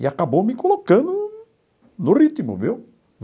E acabou me colocando no ritmo, viu?